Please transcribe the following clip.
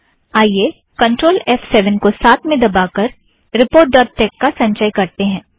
आइए कंट्रोल और F seven को साथ में दबाकर रीपोर्ट डॉट टेक का संचय करतें हैं